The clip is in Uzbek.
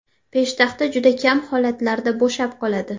Peshtaxta juda kam holatlarda bo‘shab qoladi.